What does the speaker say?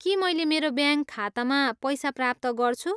के मैले मेरो ब्याङ्क खातामा पैसा प्राप्त गर्छु?